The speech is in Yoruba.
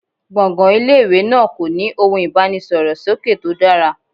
Gbọ̀ngàn ilé ìwé náà kò ní ohun ìbánisọ̀rọ̀ sókè tó dára.